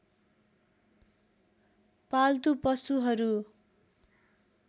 पाल्तु पशुहरू